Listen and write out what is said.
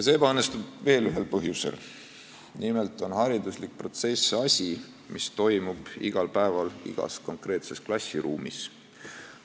See ebaõnnestub veel ühel põhjusel: nimelt on haridusprotsess asi, mis toimub igal päeval igas konkreetses klassiruumis.